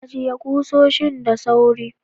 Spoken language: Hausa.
Ajiye kusoshin da sauri.